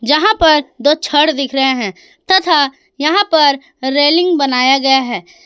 यहां पर दो छड़ दिख रहे हैं तथा यहां पर रेलिंग बनाया गया है।